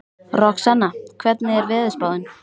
Roxanna, hvernig er veðurspáin?